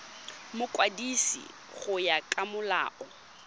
mokwadisi go ya ka molao